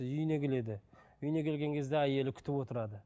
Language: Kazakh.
үйіне келеді үйіне келген кезде әйелі күтіп отырады